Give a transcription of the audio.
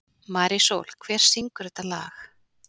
Marísól, hver syngur þetta lag?